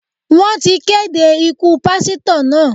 Wọ́n ti kéde ikú Pásítọ̀ náà.